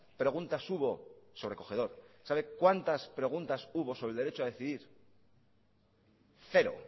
preguntas hubo sobrecogedor sabe cuántas hubo sobre el derecho a decidir cero